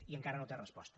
i encara no té resposta